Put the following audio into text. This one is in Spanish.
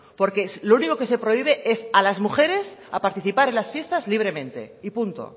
porque lo único que se prohíbe es a las mujeres a participar en las fiestas libremente y punto